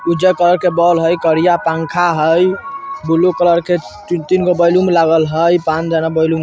उज्जर कलर के बॉल हई करिया पांखा हई। ब्लू कलर के तीन-तीन गो बैलून लागल हई। पाँच जाना बैलून --